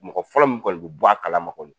Mɔgɔ fɔlɔ min kɔni be bɔ a kalama kɔni